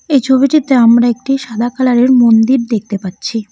এই ছবিটিতে আমরা একটি সাদা কালারের মন্দির দেখতে পাচ্ছি।